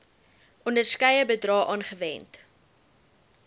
onderskeie bedrae aangewend